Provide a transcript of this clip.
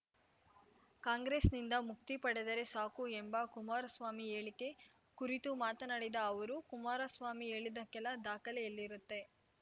ಕಾಂಗ್ರೆಸ್‌ನಿಂದ ಮುಕ್ತಿ ಪಡೆದರೆ ಸಾಕು ಎಂಬ ಕುಮಾರಸ್ವಾಮಿ ಹೇಳಿಕೆ ಕುರಿತು ಮಾತನಾಡಿದ ಅವರು ಕುಮಾರಸ್ವಾಮಿ ಹೇಳಿದಕ್ಕೆಲ್ಲಾ ದಾಖಲೆ ಎಲ್ಲಿರುತ್ತೆ